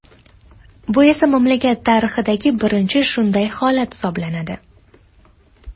Bu esa mamlakat tarixidagi birinchi shunday holat hisoblanadi.